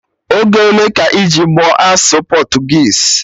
Oge ole ka iji mụọ asụsụ Portuguese?